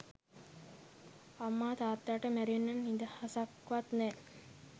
අම්මා තාත්තාට මැරෙන්න නිදහසක්වත් නෑ.